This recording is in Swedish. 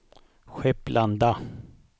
Skepplanda